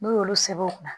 N'u y'olu sɛbɛ o kunna